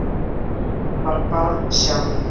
Hún var barn sjálf.